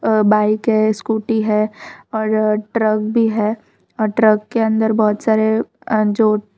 और बाइक है स्कूटी हैं और ट्रक भी हैं और ट्रक के अंदर बहुत सारे जो--